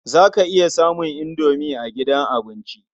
Za ka iya samun indomi a gidan abinci.